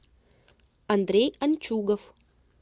андрей анчугов